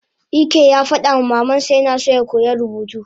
Ike yafadama mamansa yina so yakoya rubutu